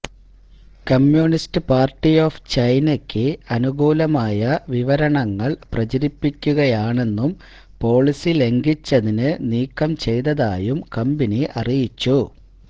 communist party of ചൈനയ്ക്ക് അനുകൂലമായ വിവരണങ്ങള് പ്രചരിപ്പിക്കുകയാണെന്നും പോളിസി ലംഘിച്ചതിന് നീക്കം ചെയ്തതായും കമ്പനി അറിയിച്ചു